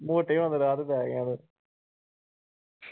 ਮੋਟੇ ਹੋਣ ਦੇ ਰਾਹ ਤੇ ਪੈ ਗਿਆ ਤੂੰ ।